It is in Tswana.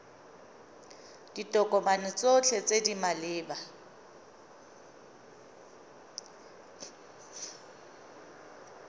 ditokomane tsotlhe tse di maleba